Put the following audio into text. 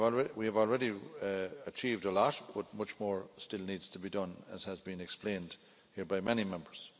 We have already achieved a lot, but much more still needs to be done, as has been explained here by many Members.